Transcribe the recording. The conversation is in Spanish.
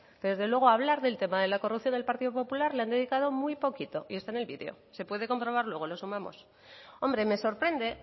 pero desde luego a hablar del tema de la corrupción del partido popular le han dedicado muy poquito y está en el vídeo se puede comprobar luego lo sumamos hombre me sorprende